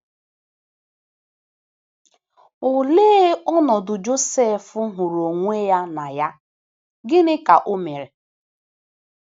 Olee ọnọdụ Josef hụrụ onwe ya na ya, gịnịkwa ka o mere?